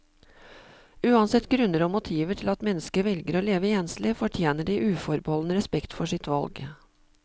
Uansett grunner og motiver til at mennesker velger å leve enslig, fortjener de uforbeholden respekt for sitt valg.